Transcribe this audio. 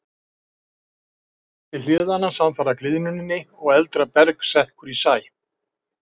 Það berst til hliðanna samfara gliðnuninni og eldra berg sekkur í sæ.